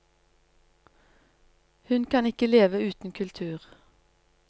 Hun kan ikke leve uten kultur.